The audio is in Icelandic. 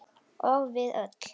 Og við öll.